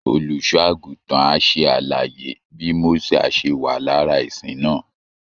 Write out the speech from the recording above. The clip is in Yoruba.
Olùṣọ́ àgùntàn á ṣe àlàyé bí Mósè á ṣe wà lára ìsìn náà